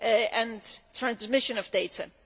and transmission of data.